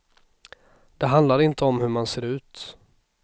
Det handlar inte om hur man ser ut.